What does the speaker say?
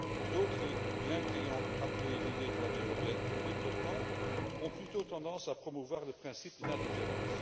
D'autres, bien qu'ayant appuyé l'idée de l'Année européenne pour le développement, ont plutôt eu tendance à promouvoir le principe de l'indifférence.